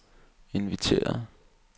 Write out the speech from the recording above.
inviteret